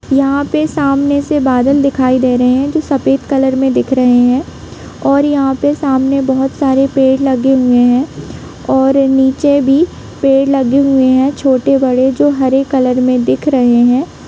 यहाँ पे सामने से बादल दिखाई दे रहे है जो सफेद कलर में दिख रहे है और यहाँ पे सामने बहुत सारे पेड़ लगे हुए है और नीचे भी पेड़ लगे हुए है छोटे बड़े जो हरे कलर में दिख रहे है।